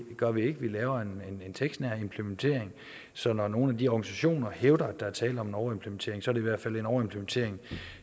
gør vi ikke vi laver en tekstnær implementering så når nogle af de organisationer hævder at der er tale om en overimplementering så i hvert fald en overimplementering